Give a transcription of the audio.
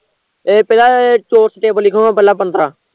ਇੱਕ ਨਾ ਚੋਰਸ table ਲਿਖਲੋ ਪਹਿਲਾਂ ਪੰਦਰਾਂ